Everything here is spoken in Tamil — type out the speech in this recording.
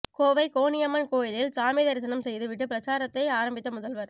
கோவை கோனியம்மன் கோயிலில் சாமி தரிசனம் செய்து விட்டு பிரச்சாரத்தை ஆரம்பித்த முதல்வர்